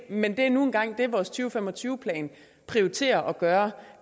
men det er nu engang det vores to fem og tyve plan prioriterer at gøre